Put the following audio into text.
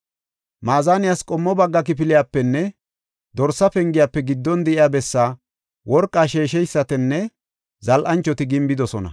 Maazaniyas qommo bagga kifiliyapenne Dorsa Pengiyafe giddon de7iya bessaa worqa sheesheysatinne zal7anchoti gimbidosona.